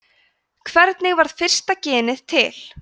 hvernig varð fyrsta genið til